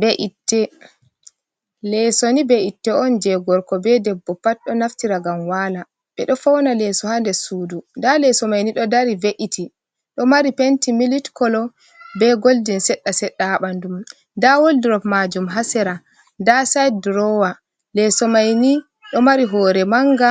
Be'itte. Leso ni be'itte on je gorko be debbo pat ɗo naftira ngam wala ɓe ɗo fauna leso ha nder sudu nda Leso mai ni ɗo dari ve’iti ɗo mari penti milik kolo be goldin seɗɗa seɗɗa ha ɓandu nda woldrop majum ha sera nda sayid drowa. Leso mai ni ɗo mari hore manga